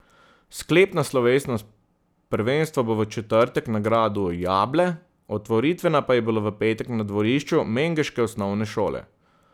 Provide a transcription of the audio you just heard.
Sklepna slovesnost prvenstva bo v četrtek na gradu Jable, otvoritvena pa je bila v petek na dvorišču mengeške osnovne šole.